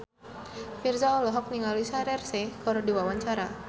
Virzha olohok ningali Shaheer Sheikh keur diwawancara